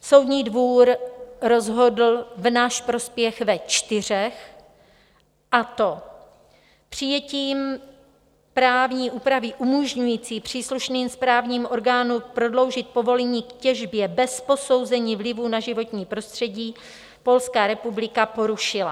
Soudní dvůr rozhodl v náš prospěch ve čtyřech, a to: Přijetím právní úpravy umožňující příslušným správním orgánům prodloužit povolení k těžbě bez posouzení vlivu na životní prostředí - Polská republika porušila.